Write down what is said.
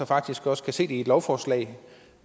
faktisk også kan se det i et lovforslag